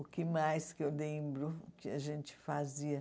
O que mais que eu lembro que a gente fazia?